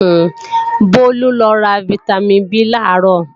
Bólú lọ ra fítámìn B làárọ̀